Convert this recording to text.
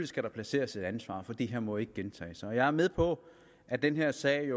skal placeres et ansvar for det her må ikke gentage sig jeg er med på at den her sag